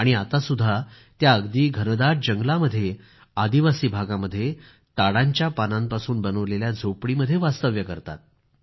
आणि आत्तासुद्धा त्या अगदी घनदाट जंगलामध्ये आदिवासी भागामध्ये ताडांच्या पानांपासून बनवलेल्या झोपडीमध्ये वास्तव्य करतात